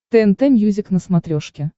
тнт мьюзик на смотрешке